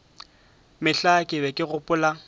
mehla ke be ke gopola